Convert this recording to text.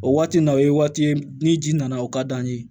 O waati nin na o ye waati ye ni ji nana o ka d'an ye